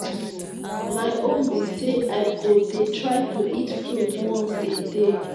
my own be say i go dey try to eat fruit once a day